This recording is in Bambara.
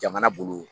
Jamana bolo